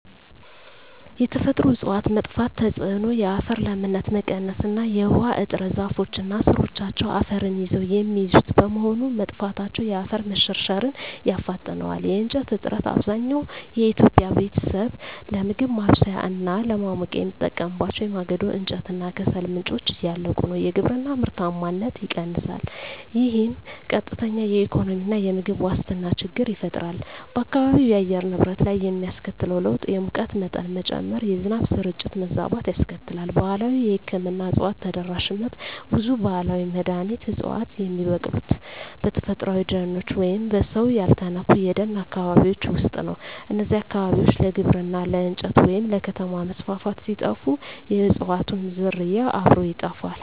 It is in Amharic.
የተፈጥሮ እፅዋት መጥፋት ተጽዕኖ የአፈር ለምነት መቀነስ እና የውሃ እጥረ ዛፎች እና ሥሮቻቸው አፈርን ይዘው የሚይዙት በመሆኑ፣ መጥፋታቸው የአፈር መሸርሸርን ያፋጥነዋል። የእንጨት እጥረት፣ አብዛኛው የኢትዮጵያ ቤተሰብ ለምግብ ማብሰያ እና ለማሞቂያ የሚጠቀምባቸው የማገዶ እንጨት እና ከሰል ምንጮች እያለቁ ነው። የግብርና ምርታማነት ይቀንሳል፣ ይህም ቀጥተኛ የኢኮኖሚና የምግብ ዋስትና ችግር ይፈጥራል። በአካባቢው የአየር ንብረት ላይ የሚያስከትለው ለውጥ የሙቀት መጠን መጨመር፣ የዝናብ ስርጭት መዛባት ያስከትላል። ባህላዊ የሕክምና እፅዋት ተደራሽነት ብዙ ባህላዊ መድኃኒት ዕፅዋት የሚበቅሉት በተፈጥሮአዊ ደኖች ወይም በሰው ያልተነኩ የደን አካባቢዎች ውስጥ ነው። እነዚህ አካባቢዎች ለግብርና፣ ለእንጨት ወይም ለከተማ መስፋፋት ሲጠፉ፣ የእፅዋቱም ዝርያ አብሮ ይጠፋል።